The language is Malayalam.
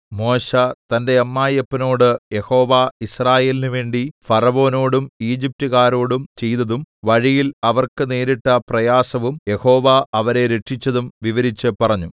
മോശെ തന്റെ അമ്മായിയപ്പനോട് യഹോവ യിസ്രായേലിന് വേണ്ടി ഫറവോനോടും ഈജിപ്റ്റുകാരോടും ചെയ്തതും വഴിയിൽ അവർക്ക് നേരിട്ട പ്രയാസവും യഹോവ അവരെ രക്ഷിച്ചതും വിവരിച്ചു പറഞ്ഞു